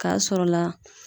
K'a sɔrɔla